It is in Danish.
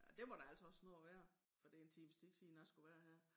Ej det må der altså også snart være for det en times tid siden jeg skulle være her